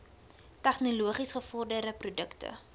tegnologies gevorderde produkte